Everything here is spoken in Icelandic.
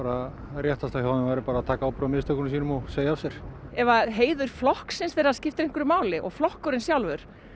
réttasta hjá þeim væri bara að taka ábyrgð á mistökum sínum og segja af sér ef heiður flokksins þeirra skiptir einhverju máli og flokkurinn sjálfur